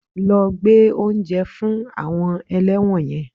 Lọ gbé oúnjẹ fún àwọn ẹlẹ́wọn yẹn